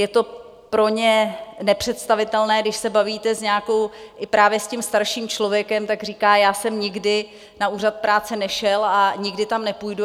Je to pro ně nepředstavitelné, když se bavíte i právě s tím starším člověkem, tak říká: Já jsem nikdy na úřad práce nešel a nikdy tam nepůjdu.